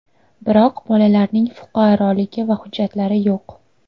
Biroq bolalarning fuqaroligi va hujjatlari yo‘q.